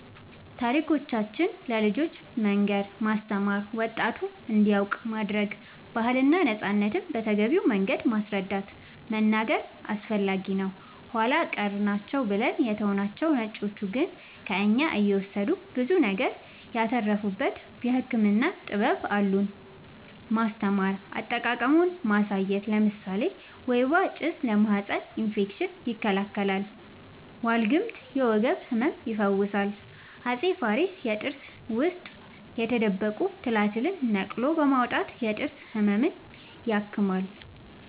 ታሪኮቻችን ለልጆቻን መንገር ማስተማር ወጣቱም እንዲያውቅ ማረግ ባህልና ነፃነትን በተገቢው መንገድ ማስረዳት መናገር አስፈላጊ ነው ኃላ ቀር ናቸው ብለን የተውናቸው ነጮቹ ግን ከእኛ እየወሰዱ ብዙ ነገር ያተረፉበት የህክምና ጥበብ አሉን ማስተማር አጠቃቀሙን ማሳየት ለምሳሌ ወይባ ጭስ ለማህፀን እፌክሽን ይከላከላል ዋልግምት የወገብ ህመም ይፈውሳል አፄ ፋሪስ የጥርስ ውስጥ የተደበቁ ትላትልን ነቅሎ በማውጣት የጥርስ ህመምን